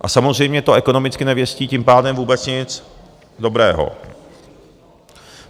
A samozřejmě to ekonomicky nevěstí tím pádem vůbec nic dobrého.